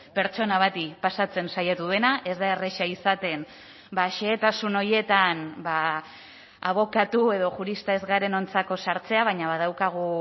pertsona bati pasatzen saiatu dena ez da erreza izaten xehetasun horietan abokatu edo jurista ez garenontzako sartzea baina badaukagu